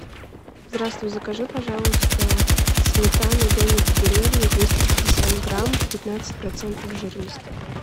здравствуй закажи пожалуйста сметану домик в деревне двести пятьдесят грамм пятнадцать процентов жирности